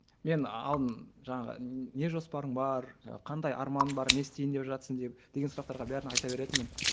мен алдын жаңағы не жоспарың бар жаңағы қандай арманың бар не істейін деп жатырсың деп деген сұрақтарға бәрін айта беретінмін